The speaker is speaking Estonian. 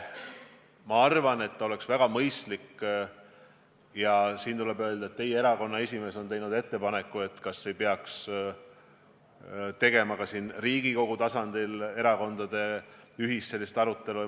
Ma arvan, et oleks väga mõistlik siinkohal kaaluda teie erakonna esimehe tehtud ettepanekut, et kas ei peaks ka Riigikogu tasandil korraldama sellist ühist erakondade arutelu.